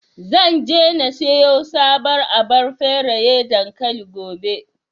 Zan je na siyo sabuwar abar feraye dankali, gobe.